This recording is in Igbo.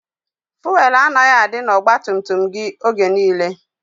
Fụelụ anaghị adị n'ọgbatumtum gị oge niile.